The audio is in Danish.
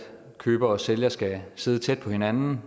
køber og sælger skal sidde tæt på hinanden